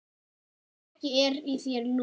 Ekki er í þér lús